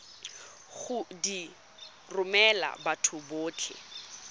go di romela batho botlhe